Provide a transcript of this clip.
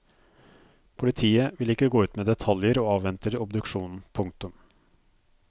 Politiet vil ikke gå ut med detaljer og avventer obduksjonen. punktum